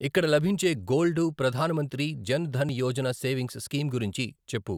ఇక్కడ లభించే గోల్డు ప్రధాన మంత్రి జన్ ధన్ యోజన సేవింగ్స్ స్కీమ్ గురించి చెప్పు!